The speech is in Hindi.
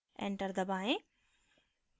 enter दबाएँ